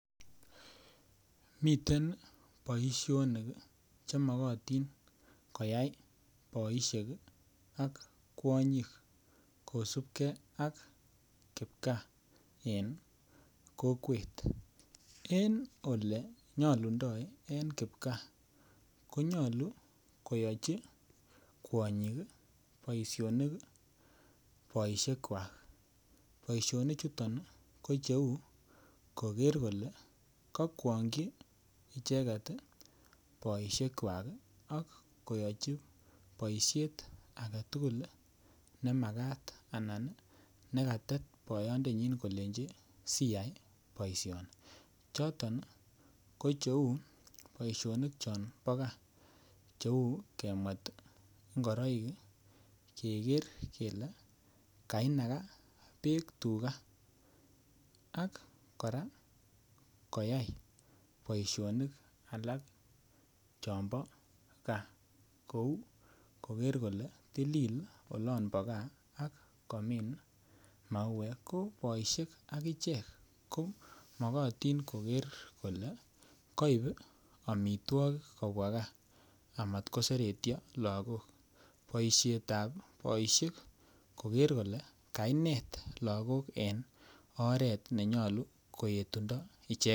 Miten boisionik chemakatin koyai boisiek ak kwanyik kosipke ak kipgaa en kokwet en olenyolundo en kipgaa konyolu koyochi kwanyik boisionik boisiekwak boisionichuton ko cheu koker kole kokwaongyi icheket boisiekwak ak kayochi boisiet agetugul nemakat anan nekatet boyondanyi kole siyai boisioni choton ko cheu boisionik chombo gaa cheu kemwet ngoroik keker kele konakaa beek tuka ak koyai kora boisionik alak chombo gaa akoker kora kole tililit olombo gaa akomin mauek ko boisiek akichek ko makotin koker kole koip amitwokik kobwa gaa amat koseretyo lakok boisietab boisiek koker kole kainet lakok en oret nenyolu koetundo icheket.